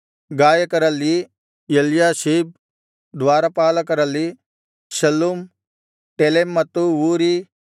ಗಾಯಕರಲ್ಲಿ Eliashib ದ್ವಾರಪಾಲಕರಲ್ಲಿ Shallum Telem ಮತ್ತು ಊರೀ